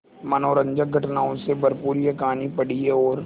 मनोरंजक घटनाओं से भरपूर यह कहानी पढ़िए और